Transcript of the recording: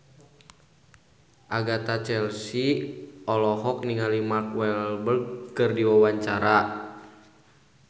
Agatha Chelsea olohok ningali Mark Walberg keur diwawancara